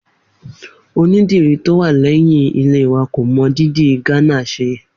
Onídìrí tó wà lé̩yìn ilé wa kò mo dídì Gánà s̩e